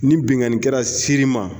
Ni binnkannikɛra ser'i ma